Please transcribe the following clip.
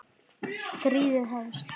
Stríðið hefst